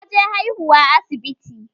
Ta je haihuwa asibiti